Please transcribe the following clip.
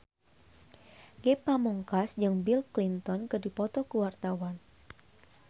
Ge Pamungkas jeung Bill Clinton keur dipoto ku wartawan